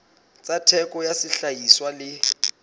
tsa theko ya sehlahiswa le